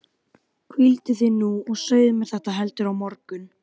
Hvíldu þig nú og segðu mér þetta heldur á morgun.